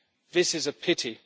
This is a pity.